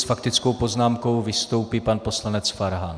S faktickou poznámkou vystoupí pan poslanec Farhan.